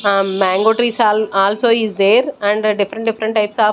um mango trees are also is there and different different types of --